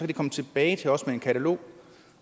de komme tilbage til os med et katalog